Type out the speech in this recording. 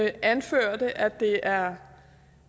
anførte at det er